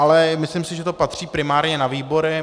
Ale myslím si, že to patří primárně na výbory.